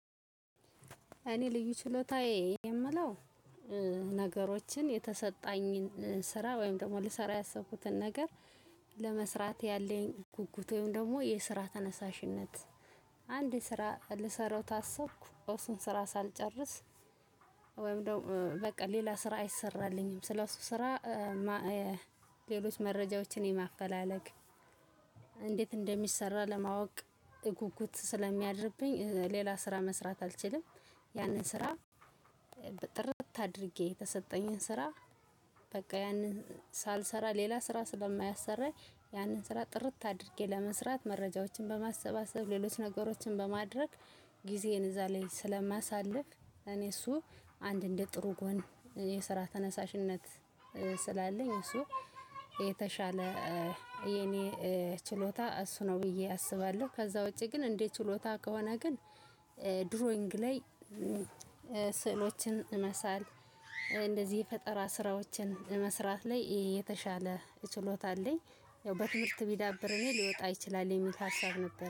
እኔ ልዩ ችሎታዬ የምለው ነገሮችን የተሰጠኝን ስራ ወይም ደግሞ ልሰራ ያሰብኩትን ነገር ለመስራት ያለኝ ጉጉት ወይም ደግሞ የስራ ተነሳሽነት። አንድ ስራ ልሰራው ታስብኩ እርሱን ስራ ሳልጨርስ ወይም ደግሞ በቃ ሌላ ስራ አይሰራልኝም ስለሱ ስራ። ሌሎች መረጃዎችን የማፈላለግ እንዴት እንደሚሰራ ለማወቅ ጉጉት ስለሚያድርብኝ ሌላ ስራ መስራት አልችልም። ያንን ስራ ጥርት አድርጌ የተሰጠኝን ስራ በቃ ያንን ሳልሰራ ሌላ ስራ ስለማያሰራኝ ያንን ስራ ጥርት አድርጌ ለመስራት መረጃዎችን በማሰባሰብ ሌሎች ነገሮችን በማድረግ። ጊዜን እዛ ላይ ስለማሳልፍ እኔ እሱ አንድ እንደ ጥሩ ጎን የስራ ተነሳሽነት ስላለኝ እሱ የተሻለ የኔ ችሎታ እሱ ነው ብዬ አስባለሁ። ከዛ ውጪ ግን እንዴ ችሎታ ከሆነ ግን ድሮይንግ ላይ። ስዕሎችን መሳል እንደዚህ የፈጠራ ስራዎችን መስራት ላይ የተሻለ ችሎታ አለኝ። ያው በትምህርት ቢዳብርም ሊወጣ ይችላል የሚል ሀሳብ ነበር